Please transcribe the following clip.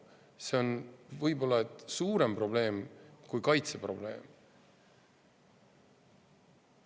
See on võib-olla isegi suurem probleem kui kaitseprobleem.